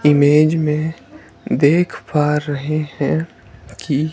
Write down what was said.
image में देख पा रहे हैं की--